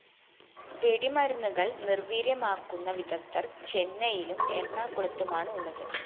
വെടിമരുന്നുകള്‍ നിര്‍വീര്യമാക്കുന്ന വിദഗ്ധര്‍ ചെന്നൈയിലും എറണാകുളത്തുമാണ് ഉള്ളത്